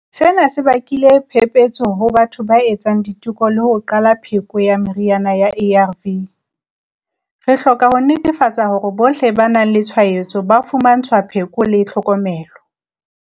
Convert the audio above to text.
Sena se bakile phephetso ho batho ba etsang diteko le ho qala ka pheko ya meriana ya ARV. Re hloka ho netefatsa hore bohle ba nang le tshwaetso ba fumantshwa pheko le tlhokomelo.